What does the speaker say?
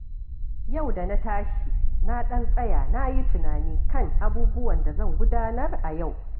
Yau da na tashi, na ɗan tsaya na yi tunani kan abubuwan da zan gudanar a yau.